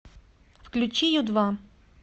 включи ю два